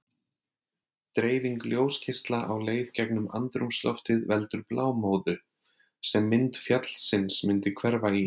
Dreifing ljósgeisla á leið gegnum andrúmsloftið veldur blámóðu, sem mynd fjallsins myndi hverfa í.